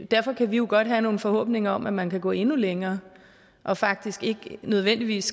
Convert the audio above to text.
derfor kan vi jo godt have nogle forhåbninger om at man kan gå endnu længere og faktisk ikke nødvendigvis